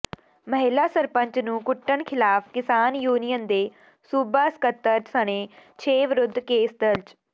ਮਹਿਲਾ ਸਰਪੰਚ ਨੂੰ ਕੁੱਟਣ ਖਿਲਾਫ਼ ਕਿਸਾਨ ਯੂਨੀਅਨ ਦੇ ਸੂਬਾ ਸਕੱਤਰ ਸਣੇ ਛੇ ਵਿਰੁੱਧ ਕੇਸ ਦਰਜ